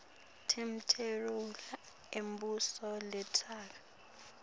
temalunga embuso letesekela